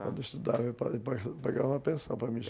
Quando eu estudava, ele pa papagava uma pensão para mim.